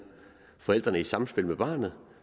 forældrene i samspil med barnet